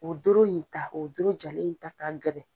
O doro in ta o doro jalen in ta ka gɛrɛ.